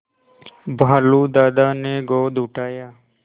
भालू दादा ने गोद उठाया